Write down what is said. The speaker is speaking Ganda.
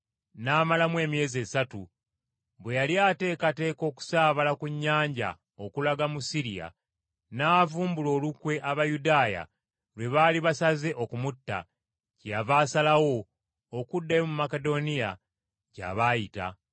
n’amalamu emyezi esatu. Bwe yali ateekateeka okusaabala ku nnyanja okulaga mu Siriya, n’avumbula olukwe Abayudaaya lwe baali basaze okumutta, kyeyava asalawo okuddayo mu Makedoniya gy’aba ayita.